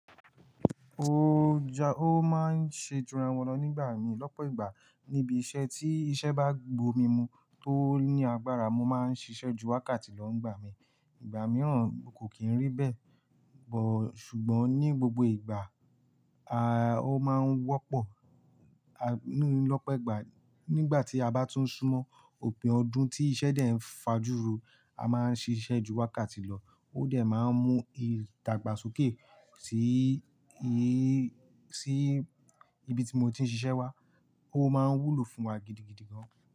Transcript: Ó ja, ó máa ń ṣe ìtura wọn lọ nígbà mi lọ́pọ̀ ìgbà níbi iṣẹ́ tí iṣẹ́ bá gbo mi mú tó ní agbára, mo máa ń ṣiṣẹ́ ju wákàtí lọ nígbà mi. Ìgbà mìíràn kò kí n rí bẹ́ẹ̀, bọ̀ ṣùgbọ́n ní gbogbo ìgbà, a, ó máa ń wọ́pọ̀, a, ní lọ́pọ̀ ìgbà nígbà tí a bá tún súnmọ́ òpin ọdún tí iṣẹ́ dẹ̀ ń fajuro, a máa ń ṣiṣẹ́ ju wákàtí lọ, ó dẹ̀ máa ń mú ìdagbasoke sí í, sí ibi tí mo ti ń ṣiṣẹ́ wá, ó máa ń wúlò fún wa gidigidi gan.